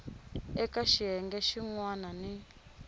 eka xiyenge xin wana ni